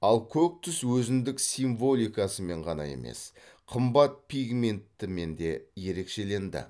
ал көк түс өзіндік символикасымен ғаан емес қымбат пигментімен де ерекшеленді